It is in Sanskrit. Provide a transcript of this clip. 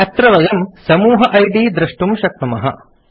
अत्र वयं समूह इद् दृष्टुं शक्नुमः